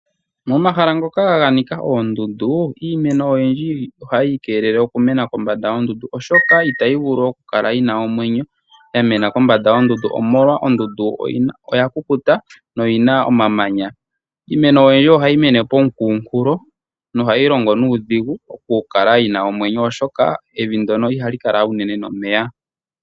Momahala ngoka ganika oondundu iimeno oyindji ohayi kelele okumena kombanda yoondundu oshoka itayi vulu okukala yina omwenyo yamena kombanda yoondundu omolwa ondundu oyakukuta no yina omamanya. Iimeno oyindji ohayi mene komukunkulo no hayi longo nuudhigu okukala yina omwenyo oshoka evi ndono ihali kala uunene nomeya.